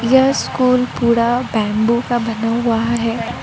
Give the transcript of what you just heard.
यह स्कूल पूरा बेम्बू का बना हुआ है।